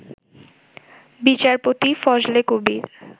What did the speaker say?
বিচারপতি ফজলে কবীর